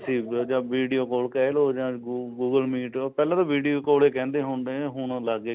ਸੀ ਜਾਂ video call ਕਹਿਲੋ ਜਾ google meet ਪਹਿਲਾਂ ਤਾਂ video call ਹੀ ਕਹਿੰਦੇ ਹੁੰਦੇ ਹੁਣ ਲੱਗ ਗਏ ਕਹਿਣ